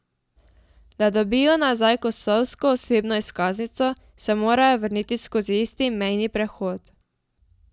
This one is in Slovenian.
Da dobijo nazaj kosovsko osebno izkaznico, se morajo vrniti skozi isti mejni prehod.